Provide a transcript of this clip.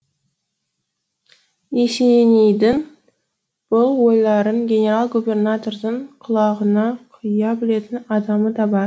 есенейдің бұл ойларын генерал губернатордың құлағына құя білетін адамы да бар